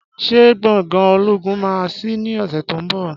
Ṣé gbòngàn ológun máà sí ní ọsẹ tí o nbọ